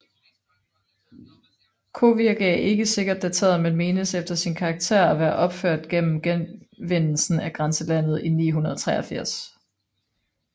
Kovirke er ikke sikkert dateret men menes efter sin karakter at være opført efter genvindelsen af grænselandet i 983